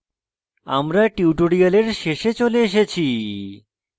আমরা tutorial শেষে চলে এসেছি